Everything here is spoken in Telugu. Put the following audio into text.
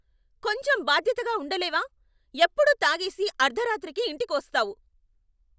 కొంచెం బాధ్యతగా ఉండ లేవా? ఎప్పుడూ తాగేసి అర్థరాత్రికి ఇంటికి వస్తావు.